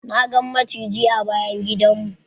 Na gan maciji a bayan gidan mu.